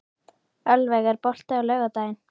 Ölveig, er bolti á laugardaginn?